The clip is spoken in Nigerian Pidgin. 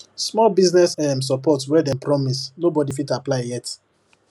small business um support wey dem promise nobody fit apply yet